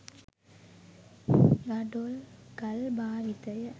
ගඩොල් ගල් භාවිතය